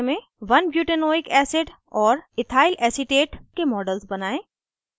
* 1butanoic acid और ethylacetate के models बनायें